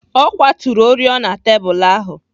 Ọ kwaturu oriọna tebụl ahụ.